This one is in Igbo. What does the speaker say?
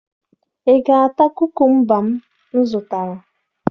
Ị ga-ata kukumba m zụtara?